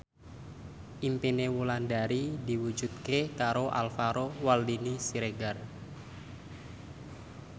impine Wulandari diwujudke karo Alvaro Maldini Siregar